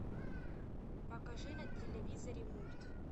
покажи на телевизоре мульт